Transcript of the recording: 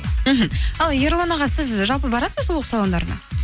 мхм ал ерлан аға сіз жалпы барасыз ба сұлулық салондарына